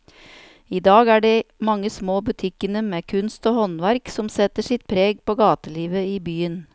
I dag er det de mange små butikkene med kunst og håndverk som setter sitt preg på gatelivet i byen.